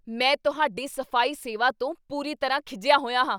ਮੈਂ ਤੁਹਾਡੀ ਸਫ਼ਾਈ ਸੇਵਾ ਤੋਂ ਪੂਰੀ ਤਰ੍ਹਾਂ ਖਿਝਿਆ ਹੋਇਆ ਹਾਂ।